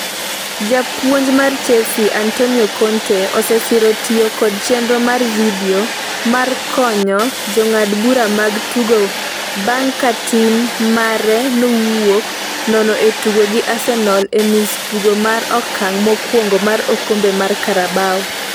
Japuonj mar Chelsea, Antonio Conte, osesiro tiyo kod chenro mar vidio mar konyo jong'ad bura mag tugo bang' ka tim mare nowuok nono e tugo gi Arsenal e nus tugo mar okang' mokwongo mar okombe mar Carabao